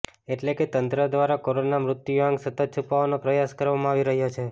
એટલે કે તંત્ર દ્વારા કોરોના મૃત્યુઆંક સતત છૂપાવાનો પ્રયાસ કરવામાં આવી રહ્યો છે